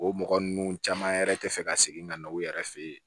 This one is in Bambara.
O mɔgɔ ninnu caman yɛrɛ tɛ fɛ ka segin ka na u yɛrɛ fɛ yen